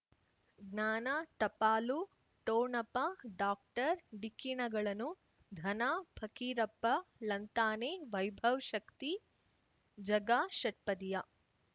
ಜ್ಞಾನ ಟಪಾಲು ಠೊಣಪ ಡಾಕ್ಟರ್ ಢಿಕ್ಕಿ ಣಗಳನು ಧನ ಫಕೀರಪ್ಪ ಳಂತಾನೆ ವೈಭವ್ ಶಕ್ತಿ ಝಗಾ ಷಟ್ಪದಿಯ